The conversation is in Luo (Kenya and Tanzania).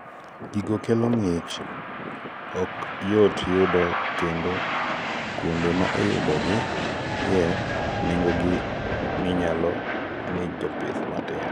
gigo kelo ng'ich ok yot yudo kendo kuonde ma iyudo gi ye nengo gi ni malo ne jpith matindo